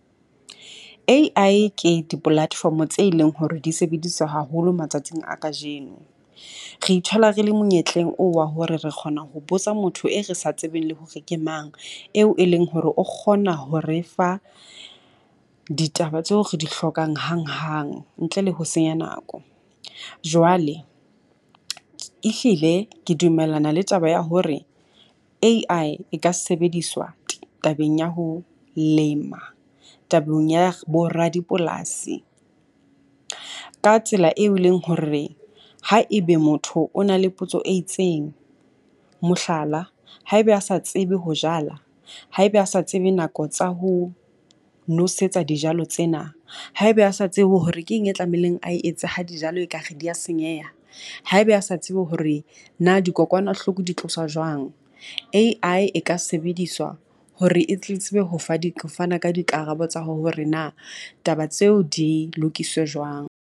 A_I ke di-platform tse leng hore di sebediswa haholo matsatsing a kajeno. Re ithola re le monyetleng oo wa hore re kgona ho botsa motho e re sa tsebeng le hore ke mang eo e leng hore o kgona ho re fa ditaba tseo re di hlokang hanghang ntle le ho senya nako. Jwale ehlile ke dumellana le taba ya hore A_I e ka sebediswa tabeng ya ho lema tabeng ya bo radipolasi ka tsela eo e leng hore ha e be motho o na le potso e itseng. Mohlala, haebe a sa tsebe ho jala, haebe a sa tsebe nako tsa ho nosetsa dijalo tsena. Haebe a sa tsebe hore ke eng e tlamehileng a etse ha jalo e ka re di ya senyeha. Haebe a sa tsebe hore na dikokwanahloko di tloswa jwang. A_I e ka sebediswa hore e tle tsebe ho fa di ho fana ka dikarabo tsa hore na taba tseo di lokiswe jwang.